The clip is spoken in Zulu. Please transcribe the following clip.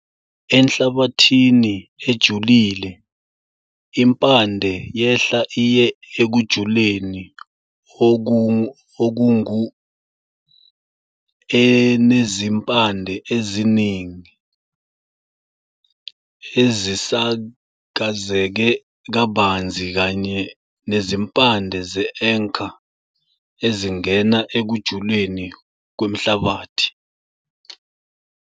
Enhlabathini ejulile, impande yehla iye ekujuleni okungu-enezimpande eziningi, ezisakazeke kabanzi kanye nezimpande ze-anchor ezingena ekujuleni kwenhlabathi.